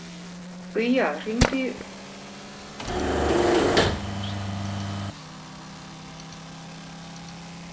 Guja, hringdu í Rósalind eftir áttatíu og tvær mínútur.